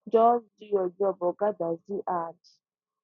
just do your job oga dadzi add